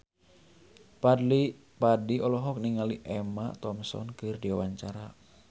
Fadly Padi olohok ningali Emma Thompson keur diwawancara